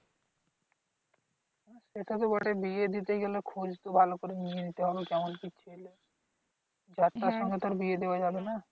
সেটা তো বটেই বিয়ে দিতে গেলে খোজ তো ভালো করে নিয়ে নিতে হবে। কেমন কি? যার তার সঙ্গে তো আর বিয়ে দেওয়া যাবে না।